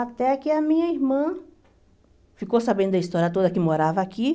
Até que a minha irmã ficou sabendo da história toda que morava aqui.